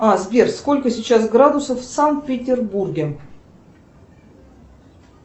а сбер сколько сейчас градусов в санкт петербурге